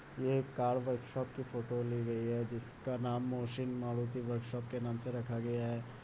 ये एक car workshop की फोटो ली गई है जिसका नाम मोहसिन मारुती वर्कशॉप के नाम से रखा गया है।